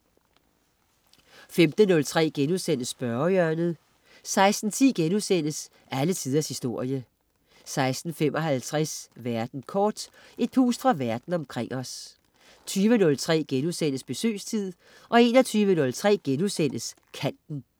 15.03 Spørgehjørnet* 16.10 Alle Tiders Historie* 16.55 Verden kort. Et pust fra Verden omkring os 20.03 Besøgstid* 21.03 Kanten*